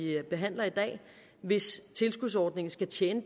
behandler i dag hvis tilskudsordningen skal tjene